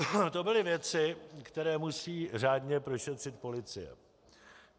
To byly věci, které musí řádně prošetřit policie.